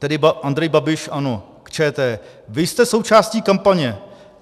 Tedy: Andrej Babiš, ANO, k ČT: Vy jste součástí kampaně.